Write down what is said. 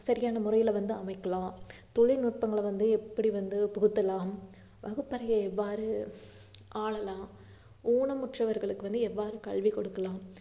சரியான முறையில வந்து அமைக்கலாம், தொழில்நுட்பங்களை வந்து எப்படி வந்து புகுத்தலாம், வகுப்பறையை எவ்வாறு ஆளலாம், ஊனமுற்றவர்களுக்கு வந்து எவ்வாறு கல்வி கொடுக்கலாம்